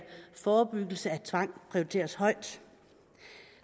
forebyggelse af tvang prioriteres højt